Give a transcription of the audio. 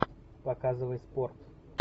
показывай спорт